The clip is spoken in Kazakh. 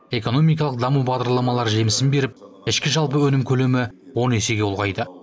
экономикалық даму бағдарламалары жемісін беріп ішкі жалпы өнім көлемі он есеге ұлғайды